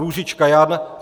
Růžička Jan